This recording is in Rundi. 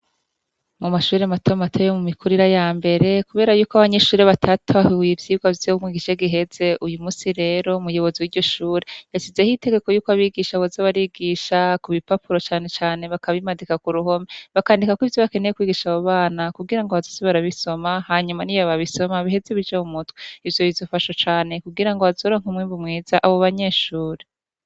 Mu mashurire matomu ateyo mu mikurira ya mbere, kubera yuko abanyishure batatahiwe ivyirwa vyomwigishe giheze uyu musi rero muyobozi w'iryo shure yashize aho itegeko yuko abigisha boze barigisha ku bipapuro canecane bakabimadika ku ruhomi bakandikako ivyo bakeneye kwigisha abu bana kugira ngo abazosi barabisoma hanyuma ni yo babisoma biheze bijammwe tw ivyo bizofasha cane kugira ngo bazoranka umwimvi mweza abo banyeshuri.